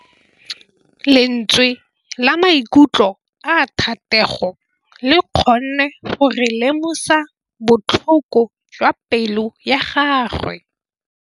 Lentswe la maikutlo a Thategô le kgonne gore re lemosa botlhoko jwa pelô ya gagwe.